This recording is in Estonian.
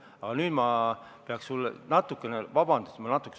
Aga nüüd ma pean natukene – vabandust!